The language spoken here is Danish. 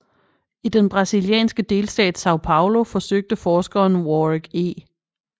I den brasilianske delstat São Paulo forsøgte forskeren Warwick E